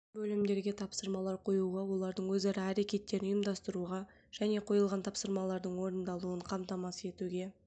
бөлімдерге тапсырмалар қоюға олардың өзара әрекеттерін ұйымдастыруға және қойылған тапсырмалардың орындалуын қамтамасыз етуге